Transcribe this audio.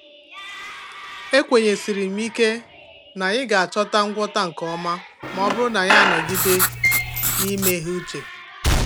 Ekwenyesiri m ike na anyị ga-achọta ngwọta nke ọma ma ọ bụrụ na anyị anọgide n'imeghe uche.